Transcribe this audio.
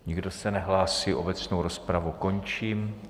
Nikdo se nehlásí, obecnou rozpravu končím.